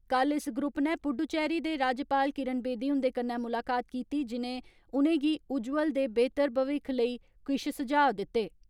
कल इस ग्रुप नै पुडुचेरी दे राज्यपाल किरण वेदी हुन्दे कन्नै मुलाकात कीती, जिनें उनेंगी उजवल दे बेहतर भविक्ख लेई किश सुझाव दिते।